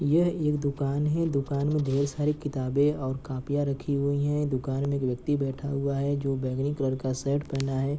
यह एक दुकान है दुकान में ढ़ेर सारी किताबें और कॉपियाँ रखी हुई हैं दुकान में एक व्यक्ति बैठा हुआ है जो बैगनी कलर का शर्ट पहना हुआ है।